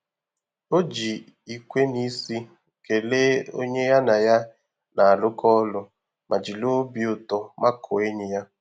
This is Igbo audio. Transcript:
O ji ikwe n'isi kelee onye ya na ya na-arụkọ ọrụ ma jiri obi ụtọ makụọ enyi ya.